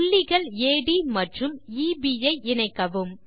புள்ளிகள் அட் மற்றும் எப் ஐ இணைக்கவும்